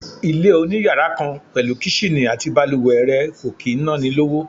Ilé oniyàrá kan pẹ̀lú Kíṣìnì àti bàlùwẹ̀ rẹ̀ kò kì í ná ni lówó.